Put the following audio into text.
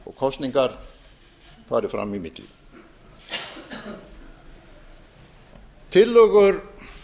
og kosningar fari fram í milli tillögur